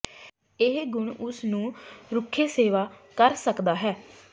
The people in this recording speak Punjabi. ਇਹ ਗੁਣ ਉਸ ਨੂੰ ਰੁੱਖੇ ਸੇਵਾ ਕਰ ਸਕਦਾ ਹੈ